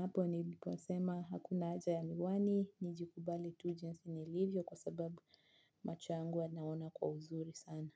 Hapo nilipo sema hakuna haja ya miwani, nijikubali tu jinsi nilivyo kwa sababu macho yangu yanaona kwa uzuri sana.